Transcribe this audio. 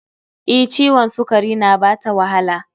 E, ciwon sukari na bata wahala